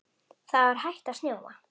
Það var hætt að snjóa.